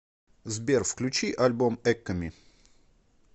сбер включи альбом эккоми